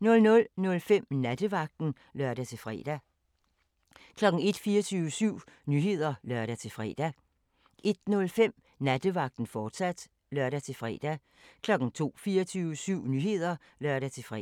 00:05: Nattevagten (lør-fre) 01:00: 24syv Nyheder (lør-fre) 01:05: Nattevagten, fortsat (lør-fre) 02:00: 24syv Nyheder (lør-fre)